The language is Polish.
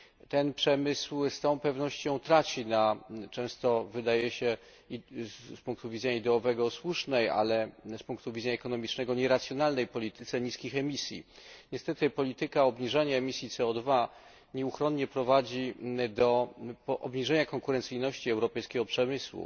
Ten przemysł z całą pewnością traci na często wydaje się z punktu widzenia ideowego słusznej, ale z punktu widzenia ekonomicznego nieracjonalnej polityce niskich emisji. Niestety polityka obniżania emisji CO nieuchronnie prowadzi do obniżenia konkurencyjności europejskiego przemysłu.